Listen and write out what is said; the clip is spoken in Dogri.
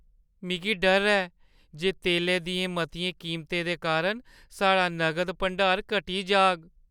मिगी डर ऐ जे तेलै दियें मतियें कीमतें दे कारण साढ़ा नगद भंडार घटी जाग।